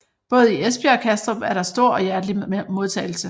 Både i Esbjerg og Kastrup er der stor og hjertelig modtagelse